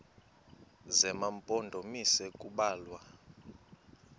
zema mpondomise kubalwa